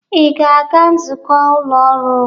Ị ga-aga nzukọ ụlọ ọrụ?